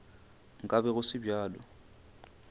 nka be go se bjalo